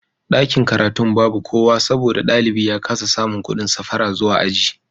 Dakin karatun babu kowa saboda dalibi ya kasa samun kudin safara zuwa aji